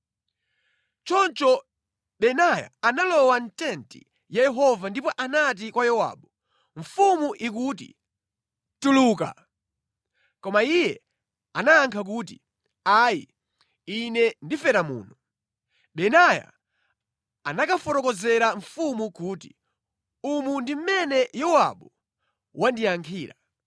Choncho Benaya analowa mʼtenti ya Yehova ndipo anati kwa Yowabu, “Mfumu ikuti ‘Tuluka!’ ” Koma iye anayankha kuti, “Ayi, ine ndifera muno.” Benaya anakafotokozera mfumu kuti, “Umu ndi mmene Yowabu wandiyankhira.”